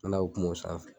N'a y'o kuma o sanfɛ